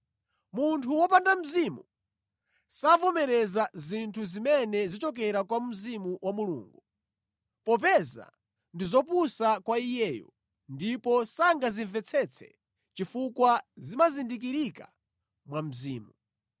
Munthu wopanda Mzimu savomereza zinthu zimene zichokera kwa Mzimu wa Mulungu, popeza ndi zopusa kwa iyeyo, ndipo sangazimvetsetse chifukwa zimazindikirika mwa Mzimu.